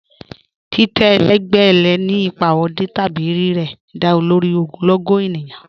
Titẹ́ ẹlẹgbẹ lẹ́ ni ipa ọdì tabi rẹ̀rẹ̀, dá lórí ogunlọ́gọ̀ ènìyàn